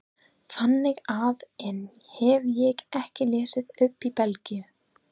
Þannig að enn hef ég ekki lesið upp í Belgíu.